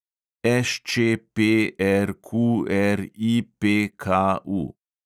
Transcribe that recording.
ŠČPRQRIPKU